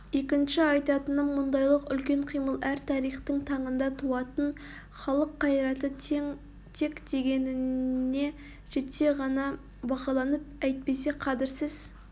екінші айтатыным мұндайлық үлкен қимыл әр тарихтың таңында туатын халық қайраты тек дегеніне жетсе ғана бағаланып әйтпесе қадірсіз